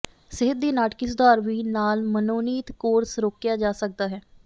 ਸਿਹਤ ਦੀ ਨਾਟਕੀ ਸੁਧਾਰ ਵੀ ਨਾਲ ਮਨੋਨੀਤ ਕੋਰਸ ਰੋਕਿਆ ਜਾ ਸਕਦਾ ਹੈ